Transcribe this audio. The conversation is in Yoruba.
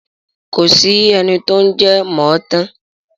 Kò sí ẹni tó ń jẹ mọ̀ ọ̀ tán.